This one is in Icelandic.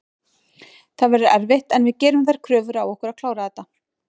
Það verður erfitt en við gerum þær kröfur á okkur að klára þetta.